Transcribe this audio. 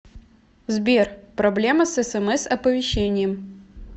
сбер проблема с смс оповещением